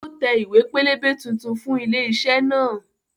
Ó tẹ ìwé pélébé tuntun fún ilé iṣẹ́ náà